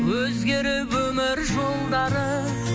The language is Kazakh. өзгеріп өмір жолдары